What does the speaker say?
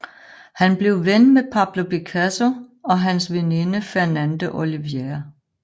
Han blev ven med Pablo Picasso og hans veninde Fernande Olivier